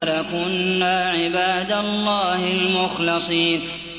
لَكُنَّا عِبَادَ اللَّهِ الْمُخْلَصِينَ